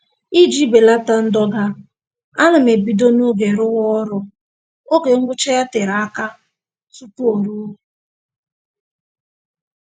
Iji belata ndọga, ana m ebido n'oge rụwa ọrụ oge ngwụcha ya tere aka tupu o ruo